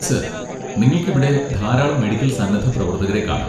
Sir, നിങ്ങൾക്ക് ഇവിടെ ധാരാളം മെഡിക്കൽ സന്നദ്ധ പ്രവർത്തകരെ കാണാം.